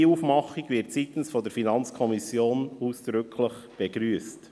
Diese Aufmachung wird seitens der FiKo ausdrücklich begrüsst.